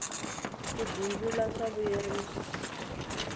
ku bindzula swa vuyerisa